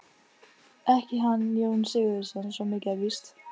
Ekki hann Jón Sigurðsson, svo mikið er víst.